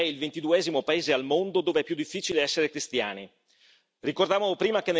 Ricordo che l'Algeria è il ventiduesimo paese al mondo dove è più difficile essere cristiani.